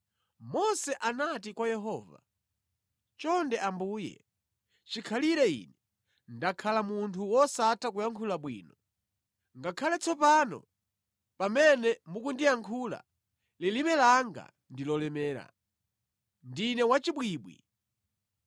Mose anati kwa Yehova, “Chonde Ambuye, chikhalire ine ndakhala munthu wosatha kuyankhula bwino. Ngakhale tsopano pamene mukundiyankhula, lilime langa ndi lolemera. Ndine wachibwibwi.”